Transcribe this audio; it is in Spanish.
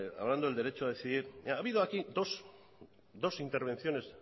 hablando del derecho a decidir ha habido aquí dos intervenciones